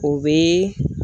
O bɛ